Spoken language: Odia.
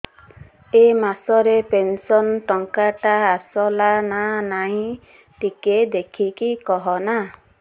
ଏ ମାସ ରେ ପେନସନ ଟଙ୍କା ଟା ଆସଲା ନା ନାଇଁ ଟିକେ ଦେଖିକି କହନା